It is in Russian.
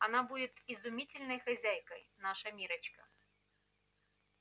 она будет изумительной хозяйкой наша миррочка